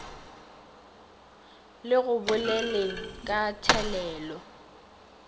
le go boleleng ka thelelo